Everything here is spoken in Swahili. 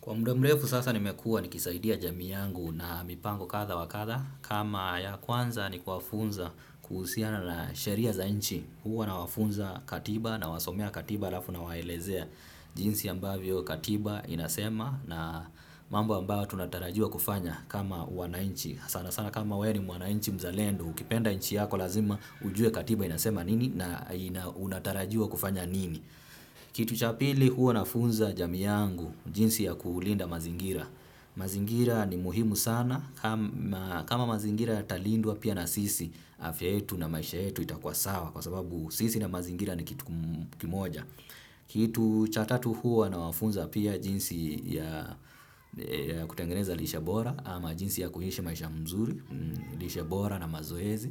Kwa muda mrefu sasa nimekua nikisaidia jamii yangu na mipango kadha wa kadha kama ya kwanza ni kuwafunza kuhusiana na sheria za inchi huwa nawafunza katiba nawasomea katiba alafu nawaelezea jinsi ambavyo katiba inasema na mambo ambayo tunatarajiwa kufanya kama wananchi. Sana sana kama wewe ni mwananchi mzalendo ukipenda inchi yako lazima ujue katiba inasema nini na unatarajua kufanya nini. Kitu cha pili huwa nafunza jamii yangu jinsi ya kulinda mazingira. Mazingira ni muhimu sana kama mazingira yatalindwa pia na sisi afya yetu na maisha yetu itakuwa sawa. Kwa sababu sisi na mazingira ni kitu kimoja. Kitu cha tatu huwa nawafunza pia jinsi ya kutengeneza lishe bora ama jinsi ya kuishi maisha mzuri lishe bora na mazoezi